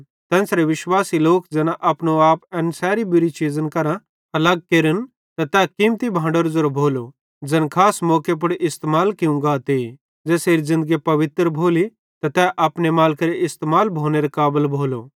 तेन्च़रे विश्वासी लोक ज़ैना अपनो आप एन सैरी बुरी चीज़न करां अलग केरे त तै कीमती भांडेरो ज़ेरो भोलो ज़ैन खास मौके पुड़ इस्तेमाल कियूं गाते ज़ेसेरी ज़िन्दगी पवित्र भोली त तै अपने मालिकेरे इस्तेमाल भोनेरे काबल भोलो